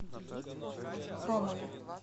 хромове